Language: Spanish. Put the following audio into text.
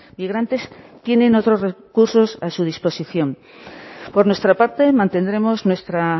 migrantes tienen otros recursos a su disposición por nuestra parte mantendremos nuestra